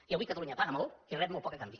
i avui catalunya paga molt i rep molt poc a canvi